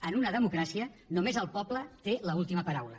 en una democràcia només el poble té l’última paraula